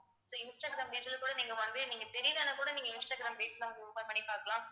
so Instagram page ல கூட நீங்க வந்து நீங்க தெரியலைன்னா கூட நீங்க இன்ஸ்டாகிராம் page ல open பண்ணி பார்க்கலாம்